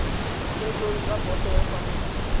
ditheetsong tsa boto ya parola